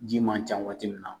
Ji man ca waati min na